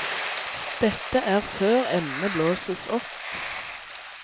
Dette er før emnet blåses opp.